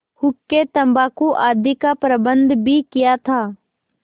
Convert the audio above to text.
हुक्केतम्बाकू आदि का प्रबन्ध भी किया था